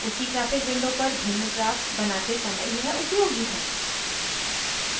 उसी graphic window पर भिन्न ग्राफ बनाते समय यह उपयोगी है